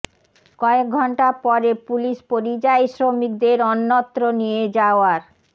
কয়েক ঘণ্টা পরে পুলিশ পরিযায়ী শ্রমিকদের অন্যত্র নিয়ে যাওয়ার